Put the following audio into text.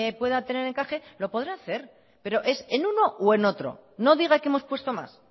pueda tener encaje lo podrá hacer pero es en uno o en otro no diga que hemos puesto más